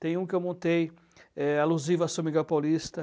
Tem um que eu montei é alusivo a São Miguel Paulista.